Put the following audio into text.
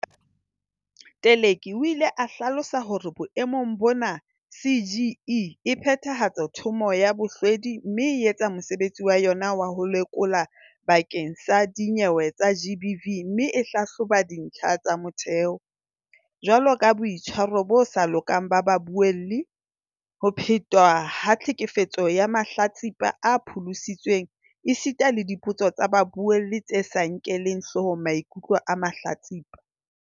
Teleki o ile a hlalosa hore boemong bona CGE e phethahatsa Thomo ya Bohlwedi mme e etsa mosebetsi wa yona wa ho lekola bakeng sa dinyewe tsa GBV mme e hlahloba dintlha tsa motheo, jwaloka boitshwaro bo sa lokang ba babuelli, ho phetwa ha tlhekefetso ya mahlatsipa a pholositsweng esita le dipotso tsa babuelli tse sa nkeleng hlohong maikutlo a mahlatsipa.